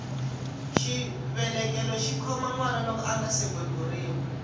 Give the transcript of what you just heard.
xivelekelo xikhoma nwana loko angasi beburiwa